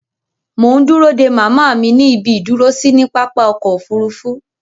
Mò ń dúró dé màmá mi ní ibi ìdúró sí ní pápá-ọkọ òfurufu.